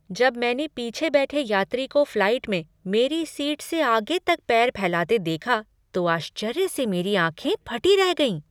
जब मैंने पीछे बैठे यात्री को फ्लाइट में मेरी सीट से आगे तक पैर फैलाते देखा तो आश्चर्य से मेरी आँखें फटी रह गईं।